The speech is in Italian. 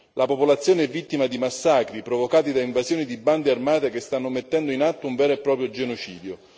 La popolazione è vittima di massacri, provocati da invasioni di bande armate che stanno mettendo in atto un vero e proprio genocidio.